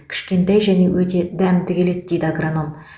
кішкентай және өте дәмді келеді дейді агроном